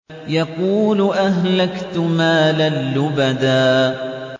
يَقُولُ أَهْلَكْتُ مَالًا لُّبَدًا